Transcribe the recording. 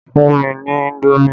Fún mi ní indomi!